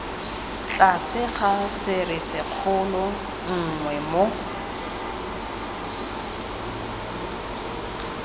tlase ga serisikgolo nngwe moo